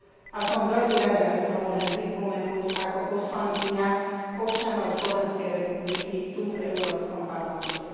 A som veľmi rada, že to môžem pripomenúť ako poslankyňa občanov Slovenskej republiky tu v Európskom parlamente.